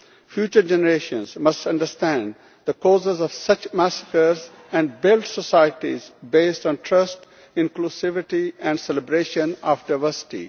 Future generations must understand the causes of such massacres and build societies based on trust, inclusivity and the celebration of diversity.